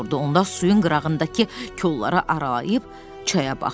Onda suyun qırağındakı kolları aralayıb çaya baxdılar.